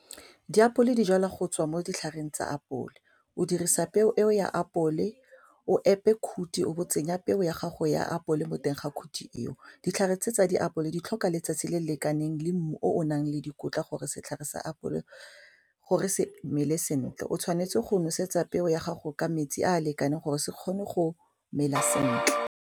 Diapole dijalwa go tswa mo ditlhareng tsa apole o dirisa peo eo ya apole o epe khuthi o bo tsenya peu ya gago ya apole mo teng ga khuthi eo, ditlhare tse tsa diapole di tlhoka letsatsi le lekaneng le mmu o o nang le dikotla gore setlhare sa apole gore se mele sentle, o tshwanetse go nosetsa peo ya gago ka metsi a a lekaneng gore se kgone go mela sentle.